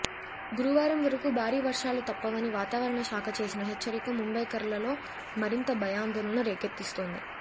గురువారం వరకు భారీ వర్షాలు తప్పవని వాతావరణ శాఖ చేసిన హెచ్చరిక ముంబైకర్లలో మరింత భయాందోళన రేకెత్తిస్తోంది